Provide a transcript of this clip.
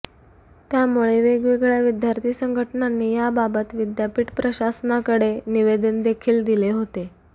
त्यामुळे वेगवेगळ्या विद्यार्थी संघटनांनी याबाबत विद्यापीठ प्रशासनातकडे निवेदन देखील दिले होते